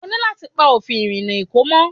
O ní láti pa òfin ìrìnà Èkó mọ́.